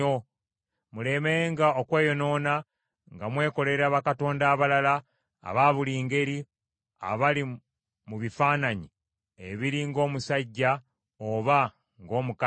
mulemenga okweyonoona nga mwekolera bakatonda abalala, aba buli ngeri, abali mu bifaananyi ebiri ng’omusajja oba ng’omukazi,